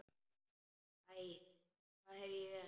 Æ, hvað hef ég gert?